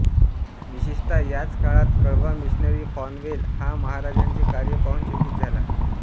विशेषतः याच काळात कडवा मिशनरी फॉनवेल हा महाराजांचे कार्य पाहून चकित झाला